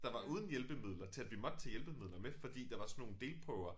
Der var uden hjælpemidler til at vi måtte tage hjælpemidler med fordi der var sådan nogle delprøver